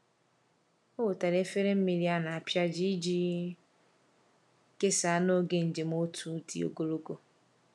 Ọ wetara efere mmiri a na-apịaji iji kesaa n’oge njem otu dị ogologo.